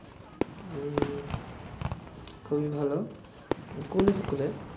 হুম খুবই ভালো কোন স্কুলে